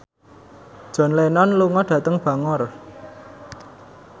John Lennon lunga dhateng Bangor